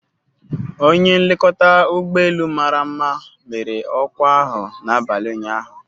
Onye nlekọta ụgbọ elu mara mma mere ọkwa ahụ n'abalị ụnyaahụ